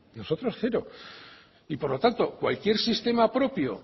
nosotros cero y por lo tanto cualquier sistema propio